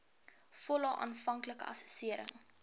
volle aanvanklike assessering